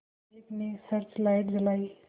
एक ने search light जलाई